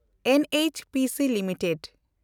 NHPC limited